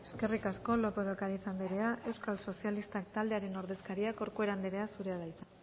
eskerrik asko lópez de ocariz anderea euskal sozialistak taldearen ordezkaria corcuera anderea zurea da hitza